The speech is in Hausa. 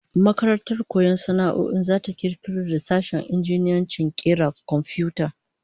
Makarantar koyon sana'o'in zata kirkiro da sashen injiniyancin kera komfiyuta